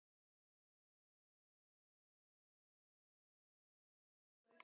Sverre, hvaða mánaðardagur er í dag?